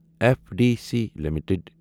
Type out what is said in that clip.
F D C limited